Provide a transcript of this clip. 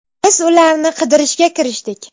Biz ularni qidirishga kirishdik.